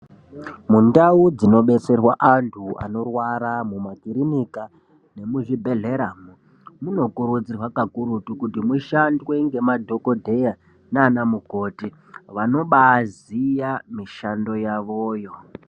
Mundau dzinobatsirwe antu anorwara mumakiriniki munokuridzirwa kakurutu kuti mushandwe ngemadhokodheya nanamukoti vanobaziya mushando yavoyo.